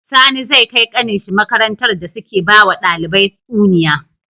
Sani zai kai kanin shi makarantar da suke bawa ɗalibai tsuniya